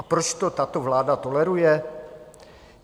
A proč to tato vláda toleruje?